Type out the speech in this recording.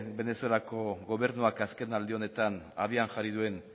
venezuelako gobernuak azkenaldi honetan abian jarri duen